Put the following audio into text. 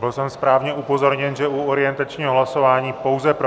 Byl jsem správně upozorněn, že u orientačního hlasování pouze pro.